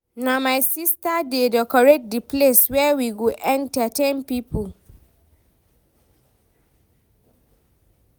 Na my sista dey decorate di place where we go entertain pipo.